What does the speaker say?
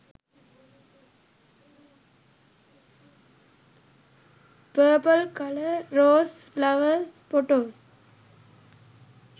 purple colour roes flowers photos